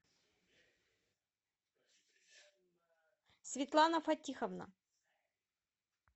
светлана фатиховна